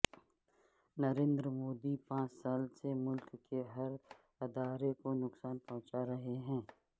نریندر مودی پانچ سال سے ملک کے ہر ادارہ کو نقصان پہنچا رہے ہیں